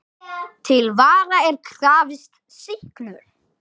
Til vara er krafist sýknu.